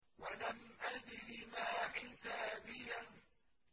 وَلَمْ أَدْرِ مَا حِسَابِيَهْ